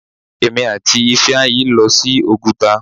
Èmi àti Ifeanyi ń lọ sí Oguta.